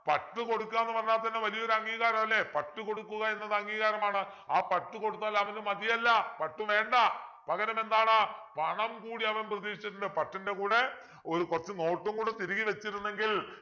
പട്ടു കൊടുക്കുക എന്ന് പറഞ്ഞാൽ തന്നെ വലിയൊരു അംഗീകാരമല്ലേ പട്ടു കൊടുക്കുക എന്നത് അംഗീകാരമാണ് ആ പട്ടു കൊടുത്താൽ അവനു മതിയല്ല പട്ടു വേണ്ട പകരമെന്താണ് പണം കൂടി അവൻ പ്രതീക്ഷിച്ചിട്ടുണ്ട് പട്ടിൻ്റെ കൂടെ ഒരു കുറച്ചു note ഉം കൂടെ തിരുകി വെച്ചിരുന്നെങ്കിൽ